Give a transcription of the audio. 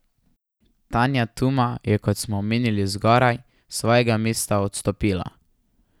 Tanja Tuma je, kot smo omenili zgoraj, s svojega mesta odstopila.